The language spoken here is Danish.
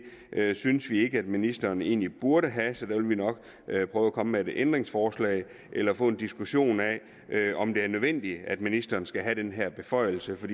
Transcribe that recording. synes vi ikke at ministeren egentlig burde have så der vil vi nok prøve at komme med et ændringsforslag eller få en diskussion af om det er nødvendigt at ministeren skal have den her beføjelse for